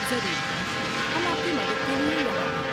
ضرور، ہم آپ کی مدد کے لیے یہاں ہیں۔